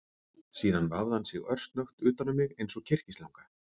Síðan vafði hann sig örsnöggt utan um mig eins og kyrkislanga